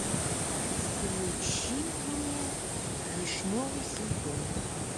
включи мне вишневый сезон